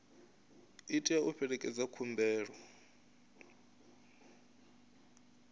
i tea u fhelekedza khumbelo